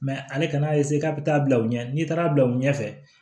ale kan'a k'a bɛ taa bila u ɲɛ n'i taara bila u ɲɛfɛ